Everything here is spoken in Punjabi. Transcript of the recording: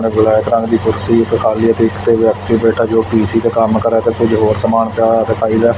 ਇੱਕ ਬਲੈਕ ਰੰਗ ਦੀ ਕੁਰਸੀ ਤੇ ਇੱਕ ਕਾਲੇ ਰੰਗ ਦੀ ਕੁਰਸੀ ਤੇ ਵਿਅਕਤੀ ਬੈਠਾ ਜੋ ਪੀ_ਸੀ ਤੇ ਕੰਮ ਕਰਿਆ ਤੇ ਕੁਝ ਹੋਰ ਸਮਾਨ ਪਿਆ ਹੋਇਆ ਦਿਖਾਈ ਦਾ।